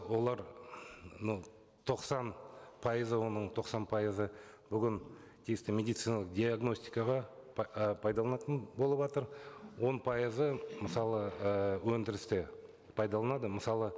олар ну тоқсан пайызы оның тоқсан пайызы бүгін тиісті медициналық диагностикаға ы пайдаланылатын болыватыр он пайызы мысалы ы өндірісте пайдаланады мысалы